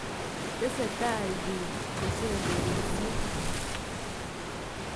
Tesetai piik kosemberisye.